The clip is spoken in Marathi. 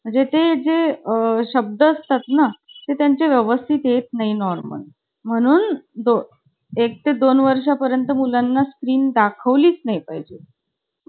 नाही ऐकलं कि मला राग यायचा. माझं~ मला सांगितलं आणि कोणी ऐकलं नाही ना कि राग यायचा. आणि मैत्रिणी मैत्रिणी लई चालायचं माझं. म्हणजे madam बोलल्या ना कि नाव ~ कोण बोलतं आहे त्यांचं नाव लिही म्हणून .